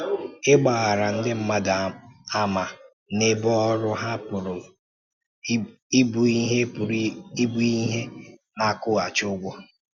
Ịgbàrà ndị mmadụ àmà n’ebe ọrụ ha pụrụ ịbụ ihe pụrụ ịbụ ihe na-akwụghachi ụgwọ.